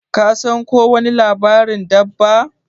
Ka san ko wani labarin dabba?